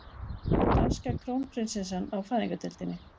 Danska krónprinsessan á fæðingardeildinni